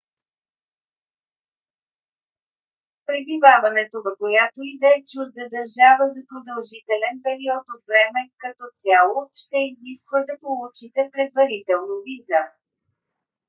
пребиваването в която и да е чужда държава за продължителен период от време като цяло ще изисква да получите предварително виза